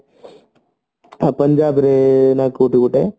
ପଞ୍ଜାବ ରୁ ନା କୋଉଠି ଗୋଟେ